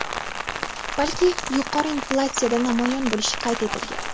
balki yuqori inflyatsiyada namoyon bo‘lishi qayd etilgan.